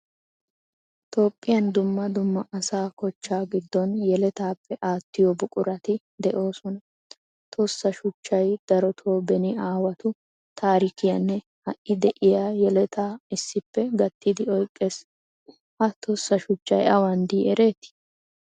Toophphiyaan dumma dumma asa kochchaa giddon yelettappe attiyo buquratti deosona. Tossa shuchchaay darotto beni aawatu taarikiyanne hai deiya yeleta issippe gattidi oyqqees. Ha tossa shuchchay awan dei eretti?